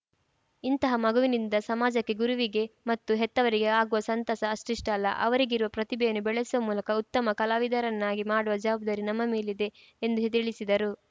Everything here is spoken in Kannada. ಇಂತಹ ಮಗುವಿನಿಂದ ಸಮಾಜಕ್ಕೆ ಗುರುವಿಗೆ ಮತ್ತು ಹೆತ್ತವರಿಗೆ ಆಗುವ ಸಂತಸ ಅಷ್ಟಿಷ್ಟಲ್ಲ ಅವರಿಗಿರುವ ಪ್ರತಿಭೆಯನ್ನು ಬೆಳೆಸುವ ಮೂಲಕ ಉತ್ತಮ ಕಲಾವಿದರನ್ನಾಗಿ ಮಾಡುವ ಜವಾಬ್ದಾರಿ ನಮ್ಮ ಮೇಲಿದೆ ಎಂದು ತಿಳಿಸಿದರು